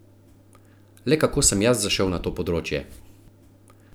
Le kako sem jaz zašel na to področje?